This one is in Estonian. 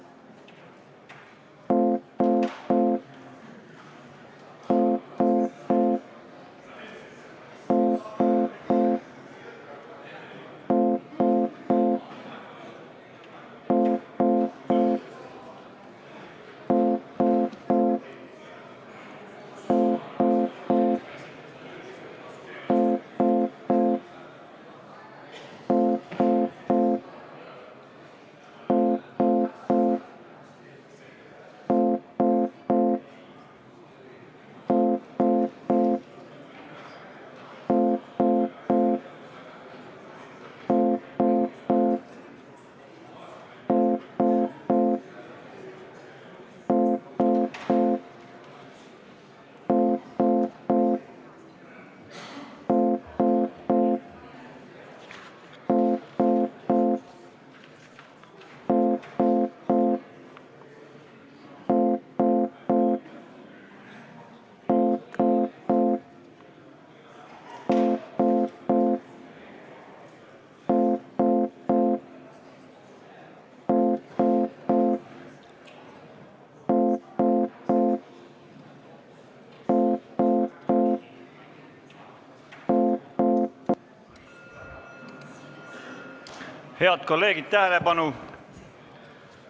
Head kolleegid, tähelepanu!